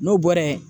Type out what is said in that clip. N'o bɔra yen